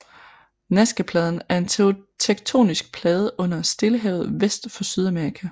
Nazcapladen er en tektonisk plade under Stillehavet vest for Sydamerika